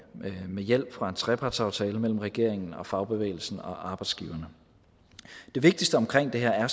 med hjælp fra en trepartsaftale mellem regeringen fagbevægelsen og arbejdsgiverne det vigtigste omkring det her er